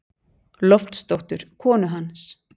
Loftsdóttur, konu hans.